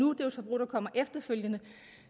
er et forbrug der kommer efterfølgende